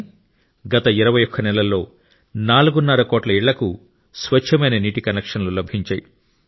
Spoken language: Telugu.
కానీ గత 21 నెలల్లో నాలుగున్నర కోట్ల ఇళ్లకు స్వచ్ఛమైన నీటి కనెక్షన్లు లభించాయి